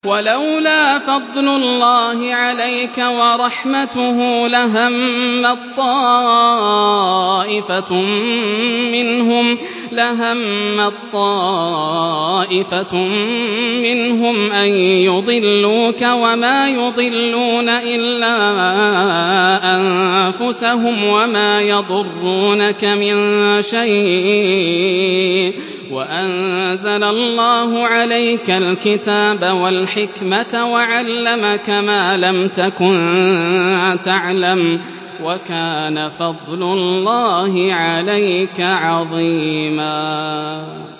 وَلَوْلَا فَضْلُ اللَّهِ عَلَيْكَ وَرَحْمَتُهُ لَهَمَّت طَّائِفَةٌ مِّنْهُمْ أَن يُضِلُّوكَ وَمَا يُضِلُّونَ إِلَّا أَنفُسَهُمْ ۖ وَمَا يَضُرُّونَكَ مِن شَيْءٍ ۚ وَأَنزَلَ اللَّهُ عَلَيْكَ الْكِتَابَ وَالْحِكْمَةَ وَعَلَّمَكَ مَا لَمْ تَكُن تَعْلَمُ ۚ وَكَانَ فَضْلُ اللَّهِ عَلَيْكَ عَظِيمًا